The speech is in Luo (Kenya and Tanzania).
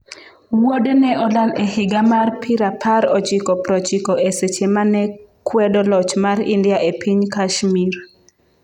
Wuode ne olal e higa mar pirapar ochiko prochiko e seche mane kwedo loch mar India e piny Kashmir.